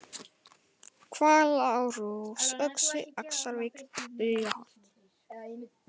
Hvalárós, Öxi, Axarvík, Bugaholt